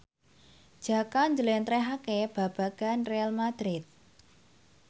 Jaka njlentrehake babagan Real madrid